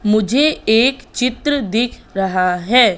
मुझे एक चित्र दिख रहा है।